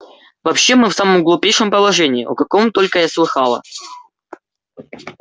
вообще мы в самом глупейшем положении о каком только я слыхала